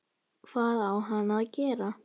Hvað á hann að gera?